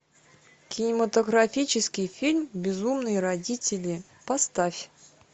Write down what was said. кинематографический фильм безумные родители поставь